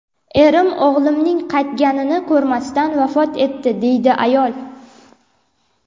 Erim o‘g‘limning qaytganini ko‘rmasdan vafot etdi”, deydi ayol.